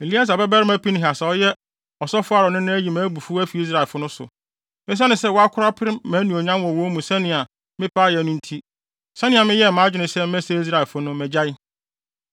“Eleasar babarima Pinehas a ɔyɛ ɔsɔfo Aaron nena ayi mʼabufuw afi Israelfo no so. Esiane sɛ wako apere mʼanuonyam wɔ wɔn mu sɛnea mepɛ ayɛ no nti, sɛnea meyɛɛ mʼadwene sɛ mɛsɛe Israelfo no, magyae.